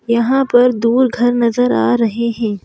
यहां पर दूर घर नजर आ रहे हैं।